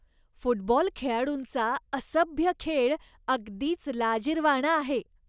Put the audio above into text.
Football खेळाडूंचा असभ्य खेळ अगदीच लाजिरवाणा आहे.